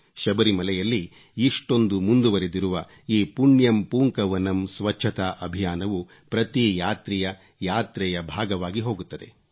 ಶಬರಿಮಲೆಯಲ್ಲಿ ಇಷ್ಟೊಂದು ಮುಂದುವರೆದಿರುವ ಈ ಪುಣ್ಯಂ ಪೂಂಕವನಂ ಪುಣ್ಯಂ ಪೂಂಕವನಂ ಸ್ವಚ್ಚತಾಅಭಿಯಾನವು ಪ್ರತಿ ಯಾತ್ರಿಯ ಯಾತ್ರೆಯ ಭಾಗವಾಗಿ ಹೋಗುತ್ತದೆ